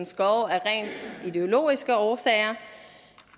skove af rent ideologiske årsager